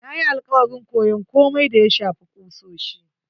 Na yi alakwarin koyon komai da ya shafi kusoshi.